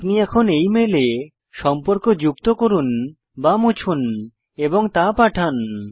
আপনি এখন এই মেলে সম্পর্ক যুক্ত করুন বা মুছুন এবং তা পাঠান